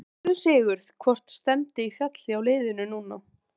En um leið losnum við ekki við ásæknar efasemdir.